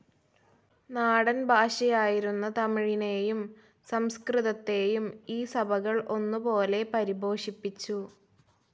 നാടൻ ഭാഷയായിരുന്ന തമിഴിനെയും സംസ്കൃതത്തെയും ഈ സഭകൾ ഒന്നുപോലെ പരിപോഷിപ്പിച്ചു.